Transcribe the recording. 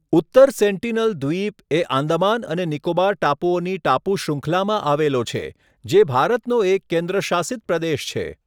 ઉત્તર સેન્ટીનલ દ્વીપ એ આંદામાન અને નિકોબાર ટાપુઓની ટાપુ શૃંખલામાં આવેલો છે જે ભારતનો એક કેન્દ્રશાસિત પ્રદેશ છે.